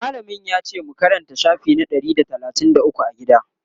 mallamin yace mu Karanta shafi na Ɗari da talatin da ukwu a gida?